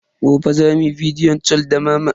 Gobe za mu yi bidiyo cal da mama.